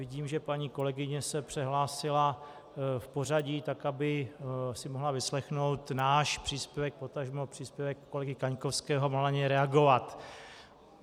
Vidím, že paní kolegyně se přehlásila v pořadí tak, aby si mohla vyslechnout náš příspěvek, potažmo příspěvek kolegy Kaňkovského, a mohla na něj reagovat.